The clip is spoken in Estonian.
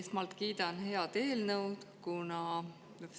Esmalt kiidan head eelnõu.